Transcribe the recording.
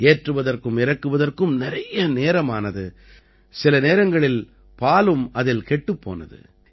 ஏற்றுவதற்கும் இறக்குவதற்கும் நிறைய நேரம் ஆனது சில நேரங்களில் பாலும் அதில் கெட்டுப் போனது